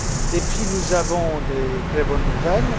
Depuis, nous avons de très bonnes nouvelles.